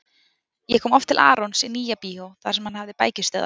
Ég kom oft til Arons í Nýja-bíó þar sem hann hafði bækistöðvar.